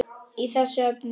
í þessu efni.